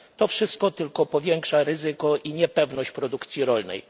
To wszystko tylko powiększa ryzyko i niepewność produkcji rolnej.